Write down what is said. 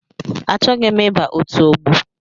Achọghị m iba ọtu ọgbọ.